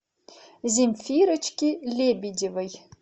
земфирочке лебедевой